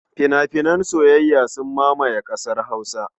Fina-finan soyayya sun mamaye ƙasar Hausa.